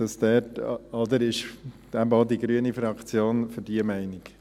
Im Übrigen ist eben auch die grüne Fraktion dieser Meinung.